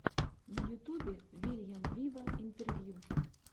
на ютубе вильям виво интервью